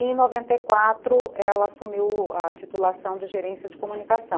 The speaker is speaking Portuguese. Em noventa e quatro ela assumiu a titulação de gerência de comunicação.